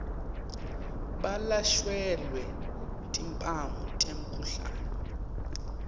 balashelwe timphawu temkhuhlane